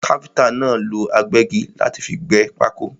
Káfíntà náà lọ agbẹ́gi láti fi gbẹ́ pákó.